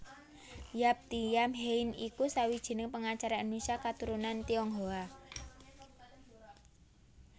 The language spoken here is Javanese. Yap Thiam Hien iku sawijining pengacara Indonésia katurunan Tionghoa